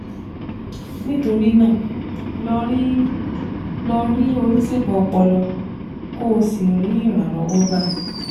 Nítorí náà, lọ rí lọ rí oníṣègùn ọpọlọ kó o sì rí ìrànlọ́wọ́ gbà